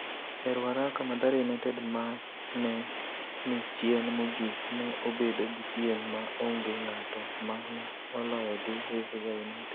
E Ruaraka, Mathare United ma ne ni chien mogik ne obedo gi piem ma onge ng'ato ma ne oloyo gi Vihiga United.